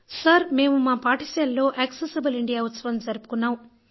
sir మేము మా పాఠశాలలో యాక్సెసబుల్ ఇండియా ఉత్సవం జరుపుకున్నాం